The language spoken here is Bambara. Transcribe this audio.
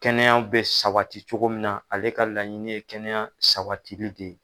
Kɛnɛya bɛ sawati cogo min na ale ka laɲini kɛnɛya sawatili de ye.